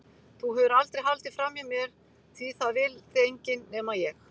Þú hefur aldrei haldið framhjá mér því það vill þig enginn- nema ég.